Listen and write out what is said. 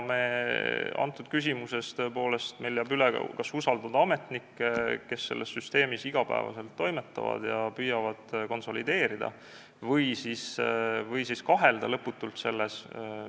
Tõepoolest, meil jääb üle kas usaldada ametnikke, kes selles süsteemis iga päev toimetavad ja püüavad asutusi konsolideerida, või siis selles lõputult kahelda.